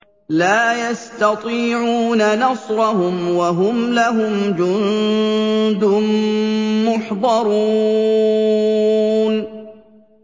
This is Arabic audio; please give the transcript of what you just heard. لَا يَسْتَطِيعُونَ نَصْرَهُمْ وَهُمْ لَهُمْ جُندٌ مُّحْضَرُونَ